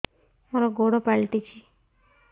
ମୋର ଗୋଡ଼ ପାଲଟିଛି